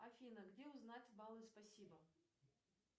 афина где узнать баллы спасибо